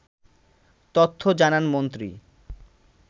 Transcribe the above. তথ্য জানান মন্ত্রী